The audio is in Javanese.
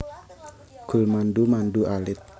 Gulmandu mandu alit